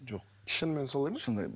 жоқ шынымен солай ма шынымен